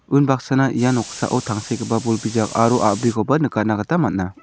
unbaksana ia noksao tangsekgipa bol bijak aro a·brikoba nikatna gita man·a.